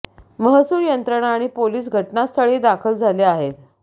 महसूल यंत्रणा आणि पोलीस घटनास्थळी दाखल झाले आहेत